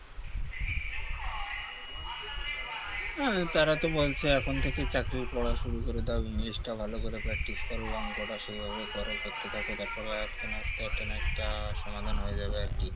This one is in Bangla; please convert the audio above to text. হ্যাঁ তারা তো বলছেন এখন থেকে চাকরির পড়া শুরু করে দাও english টা ভালো করে practice করো অঙ্কটা সেই ভাবে করো করতে থাকো যার ফলে আস্তে না আস্তে একটা না একটা সমাধান হয়ে যাবে আর কি